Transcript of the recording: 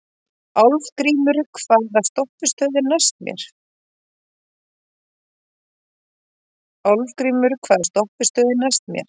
Álfgrímur, hvaða stoppistöð er næst mér?